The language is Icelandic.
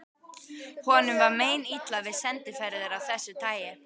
Honum var meinilla við sendiferðir af þessu tagi.